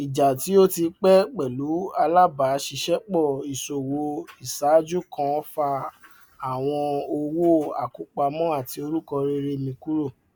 ìjà tí ó ti pé pẹlú alábàáṣiṣẹpọ íṣòwò iṣáájú kan fa àwọn owó àkópamọ àti orúkọ rere mi kúrò